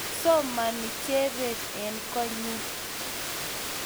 Somani Jebet eng` konyi